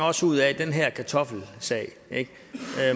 også ud af den her kartoffelsag